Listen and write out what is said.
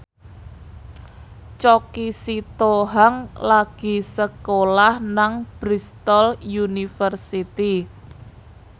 Choky Sitohang lagi sekolah nang Bristol university